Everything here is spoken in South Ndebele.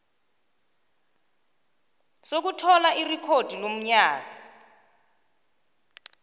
sokuthola irekhodi lomnyango